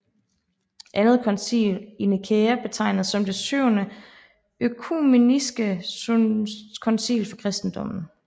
Andet koncil i Nikæa regnes som det syvende økumeniske koncil for kristendommen